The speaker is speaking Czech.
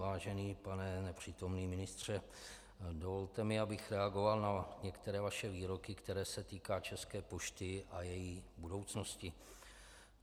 Vážený pane nepřítomný ministře, dovolte mi, abych reagoval na některé vaše výroky, které se týkají České pošty a její budoucnosti.